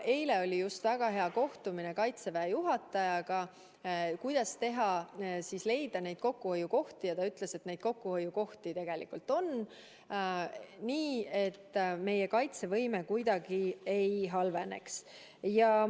Eile oli väga hea kohtumine Kaitseväe juhatajaga, kuidas leida kokkuhoiukohti, ja ta ütles, et neid kokkuhoiukohti tegelikult on, nii et meie kaitsevõime kuidagi ei halveneks.